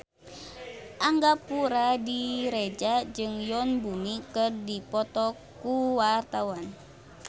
Angga Puradiredja jeung Yoon Bomi keur dipoto ku wartawan